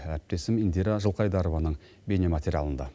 әріптесім индира жылқайдарованың бейнематериалында